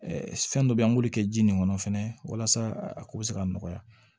fɛn dɔ bɛ yen an b'olu kɛ ji nin kɔnɔ walasa a ko bɛ se ka nɔgɔya